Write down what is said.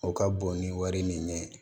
O ka bon ni wari nin ye ne ye